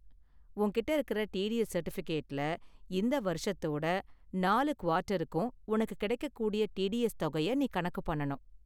உன்கிட்ட இருக்கற டிடிஎஸ் சர்டிபிகேட்லுல இந்த வருஷத்தோட நாலு குவார்ட்டருக்கும் உனக்கு கிடைக்கக்கூடிய டிடிஎஸ் தொகைய நீ கணக்கு பண்ணனும்.